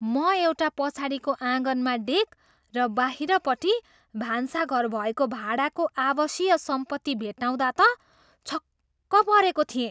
म एउटा पछाडिको आँगनमा डेक र बाहिरपट्टि भान्साघर भएको भाडाको आवासीय सम्पत्ति भेट्टाउँदा त छक्क परेको थिएँ।